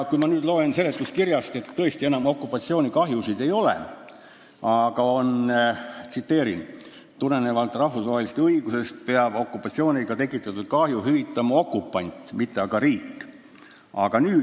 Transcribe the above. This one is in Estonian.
Kui ma nüüd seda eelnõu loen, siis tõesti enam okupatsioonikahjusid sees ei ole, aga tsiteerin seletuskirja: "Tulenevalt rahvusvahelisest õigusest peab okupatsiooniga tekitatud kahju hüvitama okupant, mitte aga riik, kes okupatsiooni all kannatas.